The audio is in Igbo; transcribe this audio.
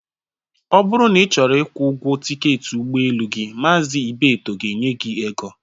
Ọ bụrụ na ị chọrọ ịkwụ ụgwọ tịketị ụgbọelu gi, Mazi Ibeto ga-enye gị ego